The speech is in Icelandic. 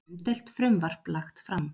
Umdeilt frumvarp lagt fram